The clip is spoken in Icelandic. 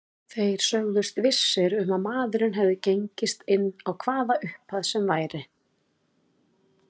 Þeir sögðust vissir um að maðurinn hefði gengist inn á hvaða upphæð sem væri.